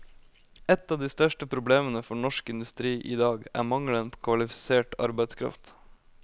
Et av de største problemene for norsk industri i dag er mangelen på kvalifisert arbeidskraft.